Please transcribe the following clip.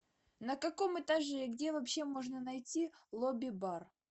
на каком этаже и где вообще можно найти лобби бар